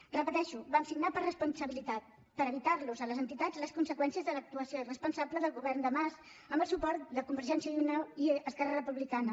ho repeteixo vam signar per responsabilitat per evitarlos a les entitats les conseqüències de l’actuació irresponsable del govern de mas amb el suport de convergència i unió i esquerra republicana